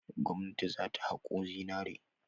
Gwamnati za ta haƙo zinare.